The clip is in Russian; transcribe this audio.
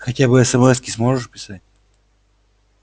хотя бы эсэмэски сможешь писать